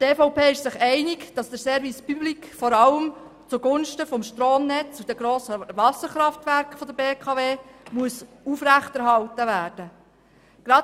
Die EVP ist sich einig, dass der Service public vor allem zugunsten des Stromnetzes und der grossen Wasserkraftwerke der BKW aufrechterhalten werden muss.